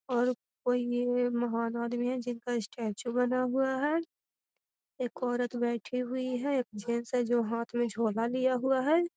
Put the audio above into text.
और कोई ये महान आदमी है जिनका स्टेचू बना हुआ है एक औरत बैठी हुई है एक जेन्स है जो हाथ में झोला लिया हुआ है।